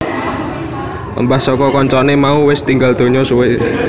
Embah saka kancané mau wis tinggal donya suwe